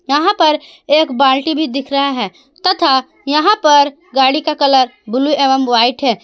यहां पर एक बाल्टी भी दिख रहा है तथा यहां पर गाड़ी का कलर ब्लू एवं व्हाइट है।